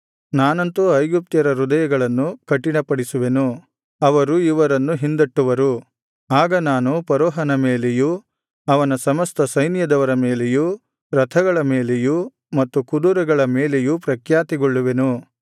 ನಾನಂತೂ ಐಗುಪ್ತ್ಯರ ಹೃದಯಗಳನ್ನು ಕಠಿಣಪಡಿಸುವೆನು ಅವರು ಇವರನ್ನು ಹಿಂದಟ್ಟುವರು ಆಗ ನಾನು ಫರೋಹನ ಮೇಲೆಯೂ ಅವನ ಸಮಸ್ತ ಸೈನ್ಯದವರ ಮೇಲೆಯೂ ರಥಗಳ ಮೇಲೆಯೂ ಮತ್ತು ಕುದುರೆಗಳ ಮೇಲೆಯೂ ಪ್ರಖ್ಯಾತಿಗೊಳ್ಳುವೆನು